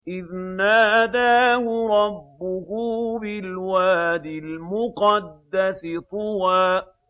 إِذْ نَادَاهُ رَبُّهُ بِالْوَادِ الْمُقَدَّسِ طُوًى